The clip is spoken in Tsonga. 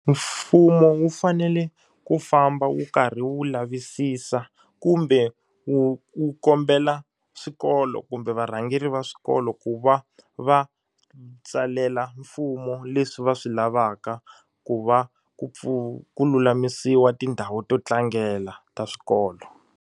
Mfumo wu fanele ku famba wu karhi wu lavisisa kumbe wu wu kombela swikolo kumbe varhangeri va swikolo ku va va tsalela mfumo leswi va swi lavaka ku va ku pfuna ku lulamisiwa tindhawu to tlangela ta swikolo.